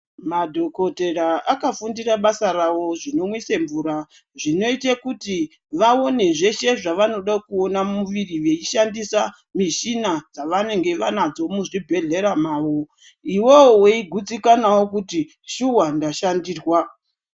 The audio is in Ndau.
Madhokotera akafundira basa ravo zvinomwise mvura zvinoite kuti vaone zveshe zvavanode kuona mumuviri veishandise michini dzavanenge vanadzo muzvibhedhlera mavo. Iwewe weigutsikanawo kuti shuwa ndashandirwa.